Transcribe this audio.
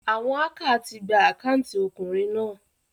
Àwon hacker ti gba account okùnrin náà